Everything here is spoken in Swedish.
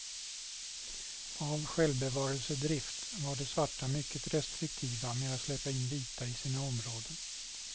Av självbevarelsedrift var de svarta mycket restriktiva med att släppa in vita i sina områden.